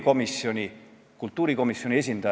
Mina viitasin tema artiklile, mis ilmus eelmisel reedel Sirbis.